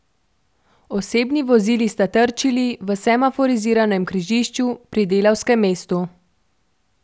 Osebni vozili sta trčili v semaforiziranem križišču pri Delavskem mestu.